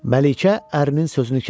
Məlikə ərinin sözünü kəsdi.